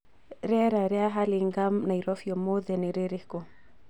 rĩera rĩa hurlingham Nairobi ũmũthĩ nĩ rĩrĩkũ